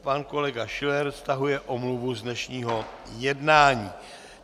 Pan kolega Schiller stahuje omluvu z dnešního jednání.